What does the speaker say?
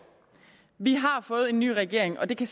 vi har fået en ny regering og det kan